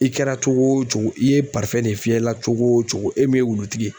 I kɛra cogo o cogo i ye de fiyɛ i la cogo o cogo e m'i ye wulutigi ye.